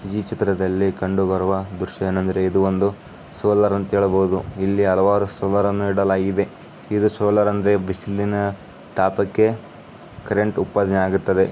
ಈ ಚಿತ್ರದಲ್ಲಿ ಕಂಡು ಬರುವ ದೃಶ್ಯ ಎಂದರೆ ಇದು ಒಂದು ಸೋಲಾರ್ ಅಂತ ಹೇಳಬಹುದು .ಇಲ್ಲಿ ಹಲವಾರು ಸೋಲಾರ್ ಗಳನ್ನ ಇಡಲಾಗಿದೆ .ಇದು ಸೋಲಾರ್ ಅಂದ್ರೆ ಬಿಸಿಲಿನ ತಾಪಕ್ಕೆ ಕರೆಂಟ್ ಉತ್ಪಾದನೆ ಆಗುತ್ತದೆ.